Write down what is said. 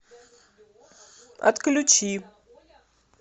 отключи